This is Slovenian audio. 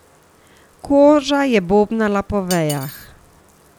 Koža je bobnala po vejah.